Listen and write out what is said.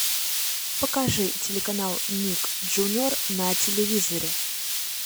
покажи телеканал ник джуниор на телевизоре